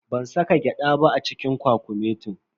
Ban saka gyada ba a cikin kwakumetin.